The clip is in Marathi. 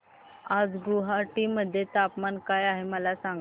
आज गुवाहाटी मध्ये तापमान काय आहे मला सांगा